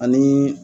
Ani